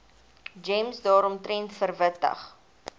gems daaromtrent verwittig